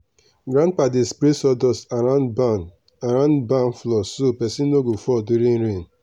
grandpa dey spray sawdust around barn around barn floor so person no go fall during rain.